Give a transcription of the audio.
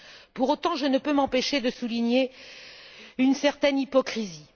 Pour autant, je ne peux m'empêcher de souligner une certaine hypocrisie.